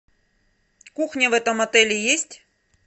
кухня в этом отеле есть